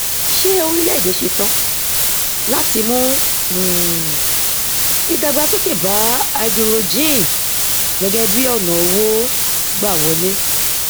ṣé orílẹ èdè ṣetán láti mú um ìdàgbàsókè bá háídírójìn gẹgẹ bí ọnà owó gbà wọlé